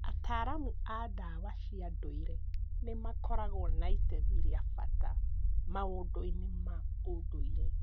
Ataaramu a ndawa cia ndũire nĩ makoragwo na itemi rĩa bata maũndũ-inĩ ma ũndũire.